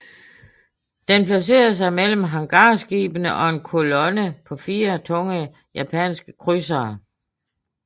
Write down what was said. Den placerede sig mellem hangarskibene og en kolonne på fire tunge japanske krydsere